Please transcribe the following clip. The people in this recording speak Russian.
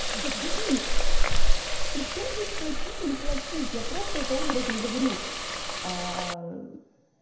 да блин причём здесь платить не платить я просто это образно говорю а